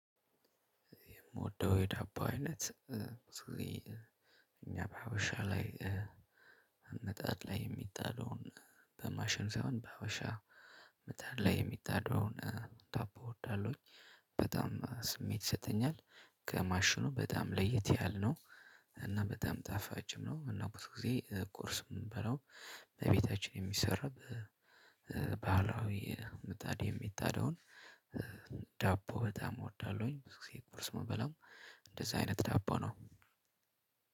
የምወደው የዳቦ አይነት እኛ በሀበሻ ላይ ሚጣድ ላይ የሚጣለውን በማሽን ሳይሆን በሀበሻ መጣድ ላይ የሚጣደውን ዳቦ እወዳለሁኝ። በጣም ስሜት ይሰጠኛል ከማሽኑ በጣም ለየት ያለ ነው። እና በጣም ጣፋጭም ነው። እና ብዙ ጊዜ ቁርስ የምንበላው በቤታችን በሚሰራበት ባህላዊ ምጣድ የሚጣደውን ዳቦ በጣም እወዳለሁኝ። ብዙ ጊዜ ቁርስ የምንበላው እንደዛ አይነት ዳቦ ነው።